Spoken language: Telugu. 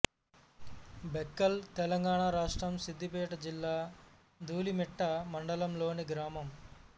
బెక్కల్ తెలంగాణ రాష్ట్రం సిద్దిపేట జిల్లా ధూలిమిట్ట మండలం లోని గ్రామం